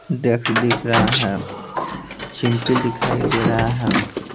डेक्स दिख रहा है चिमकिल दिखाई दे रहा है।